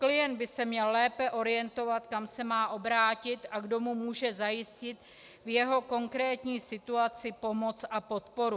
Klient by se měl lépe orientovat, kam se má obrátit a kdo mu může zajistit v jeho konkrétní situaci pomoc a podporu.